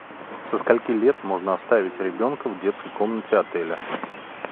со скольки лет можно оставить ребенка в детской комнате отеля